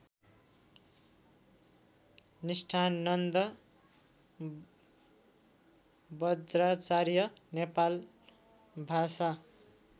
Nisthananda Bajracharya Nepal Bhasa